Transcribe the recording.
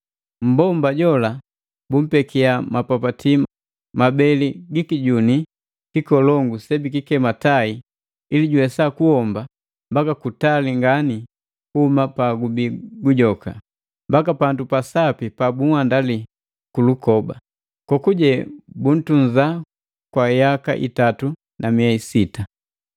Mmbomba jola bumpekia mapapati mabeli gi kijuni kikolongu sebikikema tai ili juwesa kuhomba mbaka kutali ngani kuhuma pagubi gujoka, mbaka pandu pasapi pabunhandali kulukoba, kokuje buntunza kwa yaka itatu na miei sita.